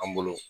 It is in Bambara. An bolo